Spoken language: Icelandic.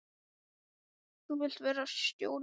Þú vilt vera stjórinn?